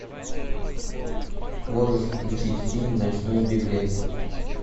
можешь включить фильм ночной беглец